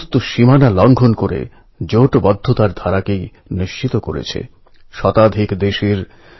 এই ঘটনা এটাই দেখায় যে যখন মানুষ জোটবদ্ধ হয় তখন অনেক আশ্চর্য জিনিষ হয়